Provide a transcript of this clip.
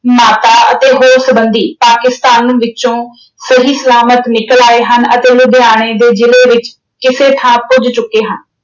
ਮਾਤਾ ਅਤੇ ਹੋਰ ਸਬੰਧੀ ਪਾਕਿਸਤਾਨ ਵਿੱਚੋਂ ਸਹੀ ਸਲਾਮਤ ਨਿਕਲ ਆਏ ਹਨ ਅਤੇ ਲੁਧਿਆਣੇ ਦੇ ਜ਼ਿਲੇ ਵਿੱਚ ਕਿਸੇ ਥਾਂ ਪੁੱਜ ਚੁੱਕੇ ਹਨ।